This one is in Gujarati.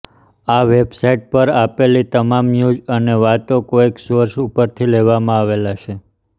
આ વેબસાઈટ પર આપેલી તમામ ન્યુઝ અને વાતો કોઈક સોર્સ ઉપરથી લેવામાં આવેલા છે